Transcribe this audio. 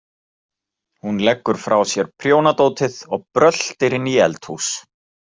Hún leggur frá sér prjónadótið og bröltir inn í eldhús.